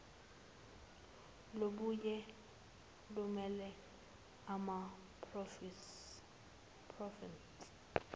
lubuye lumele amaprovinsi